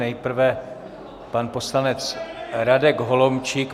Nejprve pan poslanec Radek Holomčík.